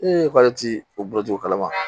k'ale ti o bɔcogo kalama